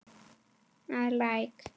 að Læk.